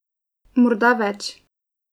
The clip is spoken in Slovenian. Morda več.